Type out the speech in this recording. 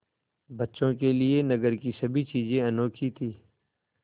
बच्चों के लिए नगर की सभी चीज़ें अनोखी थीं